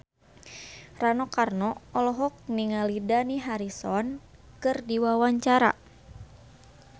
Rano Karno olohok ningali Dani Harrison keur diwawancara